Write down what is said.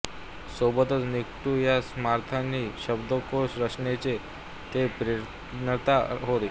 सोबतच निघण्टू या समानार्थी शब्दकोश रचनेचे ते प्रणेता होत